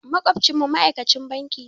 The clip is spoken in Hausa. Maƙwabcinmu ma'aikacin banki ne.